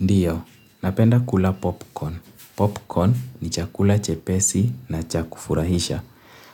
Ndio, napenda kula popcorn. Popcorn ni chakula chepesi na cha kufurahisha